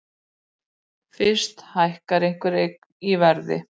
Fyrst hækkar einhver eign í verði.